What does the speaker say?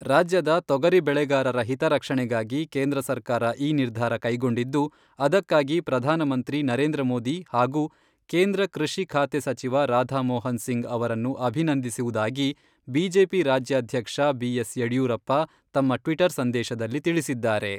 ರಾಜ್ಯದ ತೊಗರಿ ಬೆಳೆಗಾರರ ಹಿತರಕ್ಷಣೆಗಾಗಿ ಕೇಂದ್ರ ಸರ್ಕಾರ ಈ ನಿರ್ಧಾರ ಕೈಗೊಂಡಿದ್ದು, ಅದಕ್ಕಾಗಿ ಪ್ರಧಾನಮಂತ್ರಿ ನರೇಂದ್ರ ಮೋದಿ ಹಾಗೂ ಕೇಂದ್ರ ಕೃಷಿ ಖಾತೆ ಸಚಿವ ರಾಧಾ ಮೋಹನ್ ಸಿಂಗ್ ಅವರನ್ನು ಅಭಿನಂದಿಸುವುದಾಗಿ ಬಿಜೆಪಿ ರಾಜ್ಯಾಧ್ಯಕ್ಷ ಬಿ.ಎಸ್.ಯಡ್ಯೂರಪ್ಪ ತಮ್ಮ ಟ್ವಿಟರ್ ಸಂದೇಶದಲ್ಲಿ ತಿಳಿಸಿದ್ದಾರೆ.